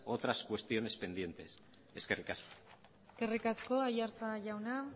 cuestiones pendientes eskerrik asko eskerrik asko aiartza jauna